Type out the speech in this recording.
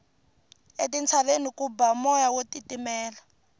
etintshaveni ku ba moya wo titimela